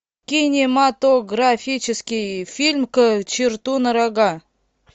кинематографический фильм к черту на рога